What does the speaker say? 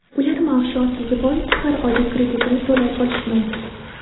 Ular maoshi ozligi bois har oyda kreditini to‘lay olishmayapti.